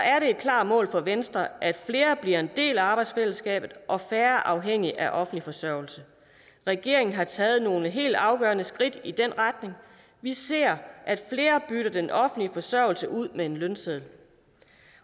er det et klart mål for venstre at flere bliver en del af arbejdsfællesskabet og færre bliver afhængige af offentlig forsørgelse regeringen har taget nogle helt afgørende skridt i den retning vi ser at flere bytter den offentlige forsørgelse ud med en lønseddel